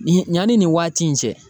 Nin yanni nin waati in cɛ